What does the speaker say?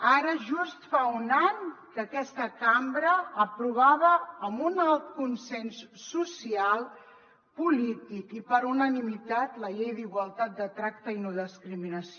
ara just fa un any que aquesta cambra aprovava amb un alt consens social polític i per unanimitat la llei d’igualtat de tracte i no discriminació